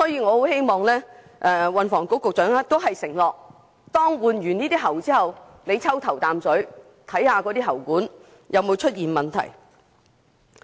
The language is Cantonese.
我很希望運輸及房屋局局長能承諾，當局會在完成更換喉管工程後抽驗"頭啖水"，驗證喉管有否出現問題。